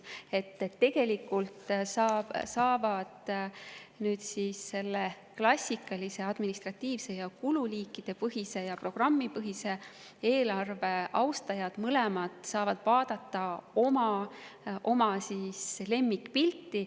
Nii et tegelikult saavad nüüd klassikalise administratiivse ja kululiigipõhise ning programmipõhise eelarve austajad mõlemad vaadata oma lemmikpilti.